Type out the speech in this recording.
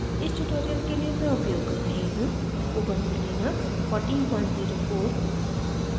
इस tutorial के लिए मैं उपयोग कर रही हूँ: ubuntu linux 1404